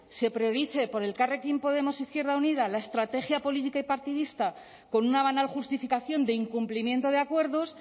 se priorice por elkarrekin podemos izquierda unida la estrategia política y partidista con una banal justificación de incumplimiento de acuerdos